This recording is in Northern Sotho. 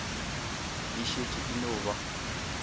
e šetše e no ba